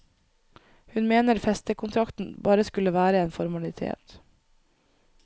Hun mener festekontrakten bare skulle være en formalitet.